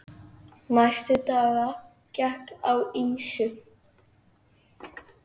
Næstu daga gekk á ýmsu.